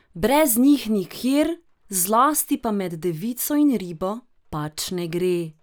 Brez njih nikjer, zlasti pa med devico in ribo, pač ne gre.